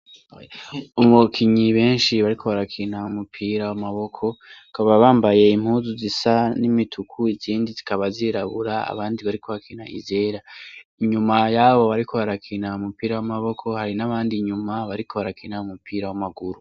Abakinyi beshi bariko barakina umupira w'amaboko bakaba bambaye impuzu zisa n'imituku izindi zikaba zirabura abandi bariko barakina izera inyuma yabo bariko barakina umupira w'amaboko hari n'abandi inyuma bariko barakina umupira w'amaguru.